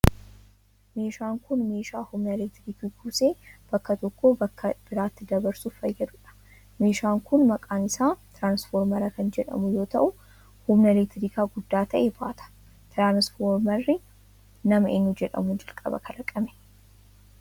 Meeshaan kun ,meeshaa humna elektirikii kuusee bakka tokkoo bakka biraatti dabarsuuf fayyaduudha. Meeshaan kun, maqaan isaa tiraansfoormara kan jedhamu yoo ta'u, humna elektirikaa guddaa ta'e baata. Tiraansfoormarri ,nama eenyu jedhamuun jalqaba kalaqame?